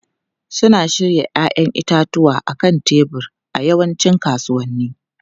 Suna shirya 'ya'yan itatuwa a kan tebur a yawancin kasuwanni.